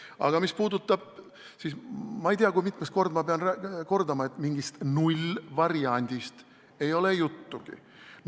Aga mis puudutab kodakondsust, siis ma ei tea, kui mitmendat korda ma pean kordama, et mingist nullvariandist ei ole juttugi.